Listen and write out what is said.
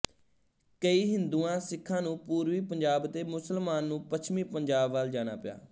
ਕਈ ਹਿੰਦੁਆਸਿਖਾਂ ਨੂੰ ਪੂਰਬੀ ਪੰਜਾਬ ਅਤੇ ਮੁਸਲਮਾਨ ਨੂੰ ਪੱਛਮੀ ਪੰਜਾਬ ਵਲ ਜਾਣਾ ਪਇਆ